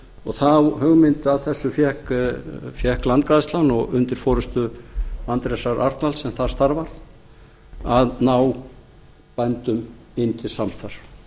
og þá hugmynd að þessu fékk landgræðslan og undir forustu andrésar arnalds sem þar starfar að ná bændum inn til samstarfs